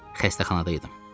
Xəstəxanada idim.